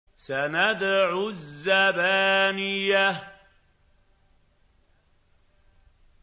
سَنَدْعُ الزَّبَانِيَةَ